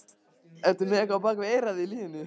Ertu með eitthvað á bak við eyrað í lífinu?